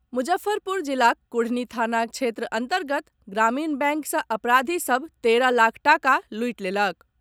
मुजफ्फरपुर जिलाक कुढ़नी थाना क्षेत्र अन्तर्गत ग्रामीण बैंक सँ अपराधी सभ तेरह लाख टाका लूटि लेलक।